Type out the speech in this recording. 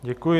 Děkuji.